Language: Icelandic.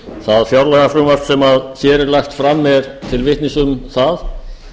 það fjárlagafrumvarp sem hér er lagt fram er til vitnis um það